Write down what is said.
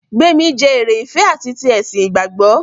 Gbémi jẹ́ eré ìfẹ ati ti ẹ̀sìn ìgbàgbọ́.